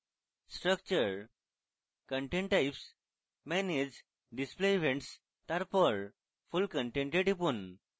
structurecontent typesmanage display events তারপর full content এ টিপুন